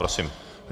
Prosím.